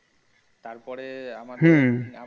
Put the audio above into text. তারপরে আমাদের। হম।